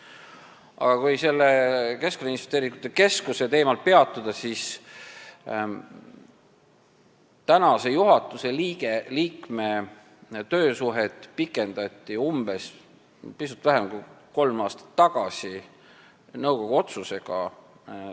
Aga kui sellel Keskkonnainvesteeringute Keskuse teemal peatuda, siis selle juhatuse liikme töösuhet pikendati pisut vähem kui kolm aastat tagasi nõukogu otsusega.